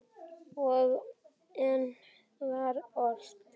Og enn var ort.